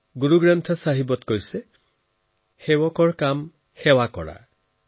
গুৰুগ্ৰন্থ ছাহিবত কোৱা হৈছে সেৱক কো সেৱা বন আই অৰ্থাৎ সেৱকৰ কাম সেৱা কৰা